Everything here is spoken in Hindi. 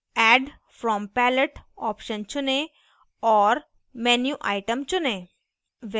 add from palette option चुनें और menu item चुनें